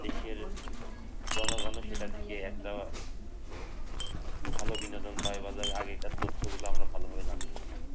দেশের জনগণ সেটা থেকে একটা ভালো বিনোদন পায় আগেকার তথ্যগুলো আমরা জানতে পারি